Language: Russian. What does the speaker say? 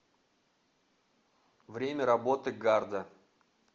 время работы гарда